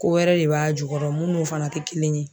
Ko wɛrɛ de b'a jukɔrɔ min n'o fana tɛ kelen ye.